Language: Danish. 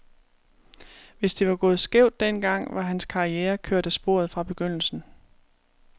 Hvis det var gået skævt den gang, var hans karriere kørt af sporet fra begyndelsen.